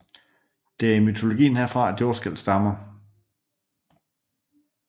Det er i mytologien herfra at jordskælv stammer